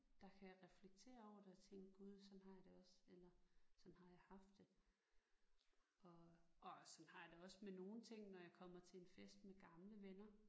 Der kan reflektere over det og tænke gud sådan har jeg det også eller sådan har jeg haft det og og sådan har jeg det også med nogle ting når jeg kommer til en fest med gamle venner